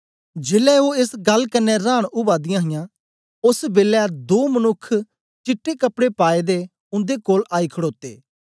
जेलै ओ एस गल्ल कन्ने रांन उवा दियां हां ओस बेलै दो मनुक्ख चिट्टे कपड़े पाएदे उन्दे कोल आई खडोते